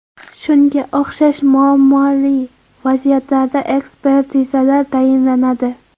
Shunga o‘xshash muammoli vaziyatlarda ekspertizalar tayinlanadi.